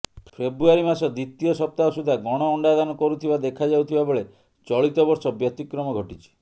ଫେବୃୟାରୀ ମାସ ଦ୍ବିତୀୟ ସପ୍ତାହ ସୁଦ୍ଧା ଗଣ ଅଣ୍ଡାଦାନ କରୁଥିବା ଦେଖାଯାଉଥିବା ବେଳେ ଚଳିତ ବର୍ଷ ବ୍ୟତିକ୍ରମ ଘଟିଛି